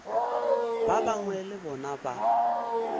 ba bangwe le bona ba